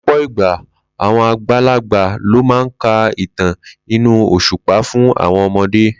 Ló̩pò̩ ìgbà, àwo̩n àgbàlagbà ló máa ń ka ìtàn inú òs̩ùpá fún àwo̩n o̩mo̩dé